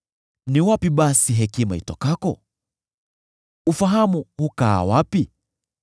“Ni wapi basi hekima itokako? Ufahamu hukaa wapi?